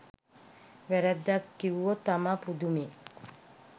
වැරැද්දක් කිව්වොත් තමා පුදුමෙ